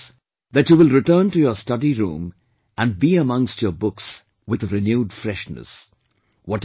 You will notice that you will return to your study room and be amongst your books with a renewed freshness